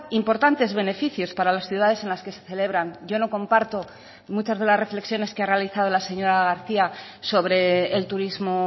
importantes beneficios para las ciudades en las que se celebran yo no comparto muchas de las reflexiones que ha realizado la señora garcía sobre el turismo